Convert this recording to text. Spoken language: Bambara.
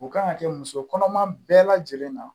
O kan ka kɛ musokɔnɔma bɛɛ lajɛlen na